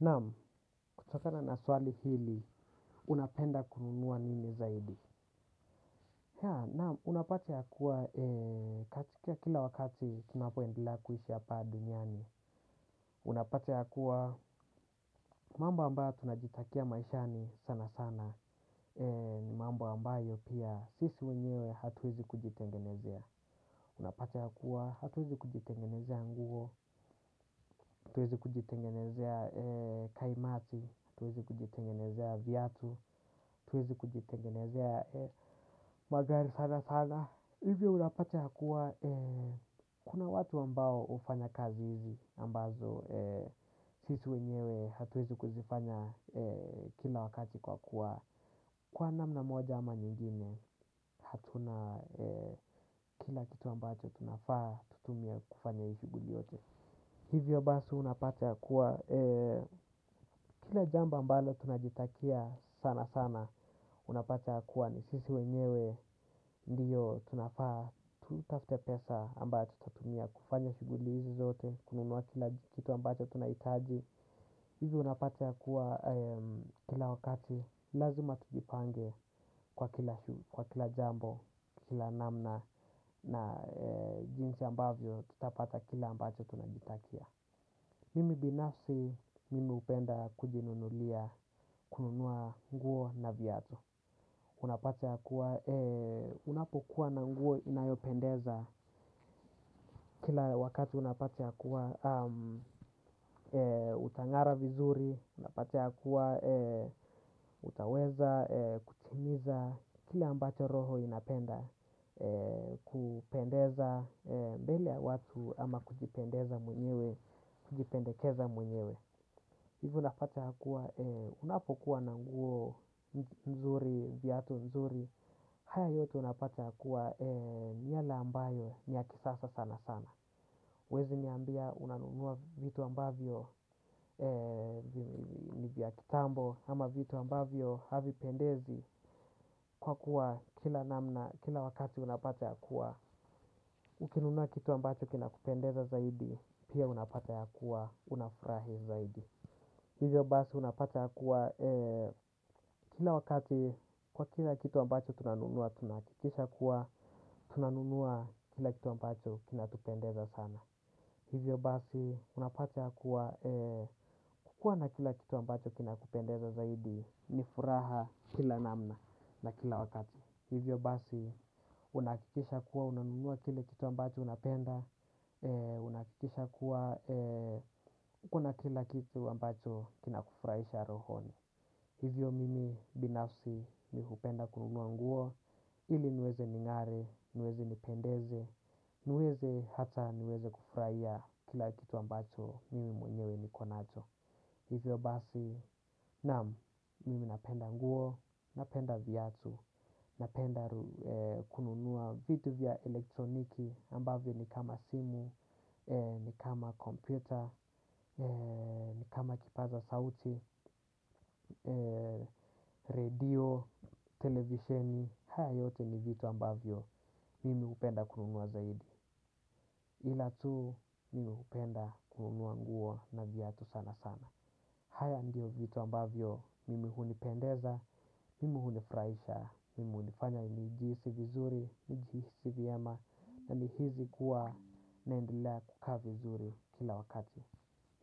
Naam, kutokana na swali hili, unapenda kununua nini zaidi? Haa, naam, unapata ya kuwa katika kila wakati tunapo endelea kuishi hapa duniani. Unapata ya kuwa, mambo ambayo tunajitakia maishani sana sana, ni mambo ambayo pia sisi wenyewe hatuwezi kujitengenezea. Unapata ya kuwa, hatuwezi kujitengenezea nguo, hatuwezi kujitengenezea kaimati, hatuwezi kujitengenezea viatu, hatuwezi kujitengenezea magari sana sana. Hivyo unapata ya kuwa kuna watu ambao hufanya kazi hizi ambazo sisi wenyewe hatuwezi kuzifanya. Kila wakati kwa kuwa kwa namna moja ama nyingine, hatuna kila kitu ambacho tunafaa kutumia kufanya hii shughuli yote. Hivyo basi unapata ya kuwa kila jambo mbalo tunajitakia sana sana unapata ya kuwa ni sisi wenyewe ndiyo tunafaa tutafute pesa ambayo tutatumia kufanya shuguli hizi zote. Kununua kila kitu ambacho tunahitaji. Hizi unapata ya kuwa kila wakati lazima tujipange kwa kila jambo, kila namna na jinsi ambavyo tutapata kila ambacho tunajitakia. Mimi binafsi mimi hupenda kujinunulia kununua nguo na viatu. Unapata ya kuwa unapokuwa na nguo inayopendeza kila wakati unapata ya kuwa utangara vizuri, unapata yakuwa utaweza kutimiza kile ambacho roho inapenda kupendeza mbele ya watu ama kujipendeza mwenyewe, kujipendekeza mwenyewe. Hivyo unapata ya kuwa unapokuwa na nguo nzuri, viatu nzuri, haya yote unapata ya kuwa ni yale ambayo ni ya kisasa sana sana. Huwezi niambia unanunua vitu ambavyo ni vya kitambo. Ama vitu ambavyo havipendezi kwa kuwa kila wakati unapata ya kuwa ukinunua kitu ambacho kina kupendeza zaidi pia unapata ya kuwa unafurahi zaidi. Hivyo basi unapata ya kuwa kila wakati kwa kila kitu ambacho tunanunua, tunahakikisha kuwa, tunanunua kila kitu ambacho kinatupendeza sana. Hivyo basi unapata ya kuwa, kukua na kila kitu ambacho kinakupendeza zaidi, nifuraha kila namna na kila wakati. Hivyo basi unahakikisha kuwa unanunua kile kitu ambacho unapenda. Unahakikisha kuwa uko na kila kitu ambacho kinakufurahisha rohoni. Hivyo mimi binafsi mi hupenda kununua nguo ili niweze ningare, niweze nipendeze, niweze hata niweze kufurahia kila kitu ambacho mimi mwenyewe niko nacho. Hivyo basi naam mimi napenda nguo, napenda viatu, napenda kununua vitu vya elektroniki ambavyo ni kama simu, ni kama kompyuta, ni kama kipaza sauti, radio, televisheni, haya yote ni vitu ambavyo mimi hupenda kununua zaidi. Ila tu mimi hupenda kununua nguo na viatu sana sana. Haya ndiyo vitu ambavyo mimi hunipendeza, mimi hunifurahisha, mimi hunifanya nigihisi vizuri, nigihisi vyema na nihisi kuwa na naendelea kukaa vizuri kila wakati.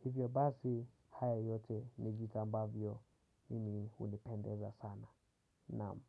Hivyo basi haya yote ni vitu ambavyo mimi hunipendeza sana. Naam.